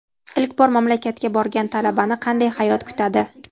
Ilk bor mamlakatga borgan talabani qanday hayot kutadi?